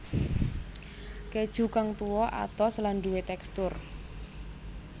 Keju kang tuwa atos lan duwé tekstur